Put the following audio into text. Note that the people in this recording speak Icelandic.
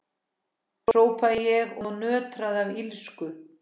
hrópaði ég og nötraði af illsku.